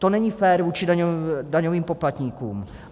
To není fér vůči daňovým poplatníkům.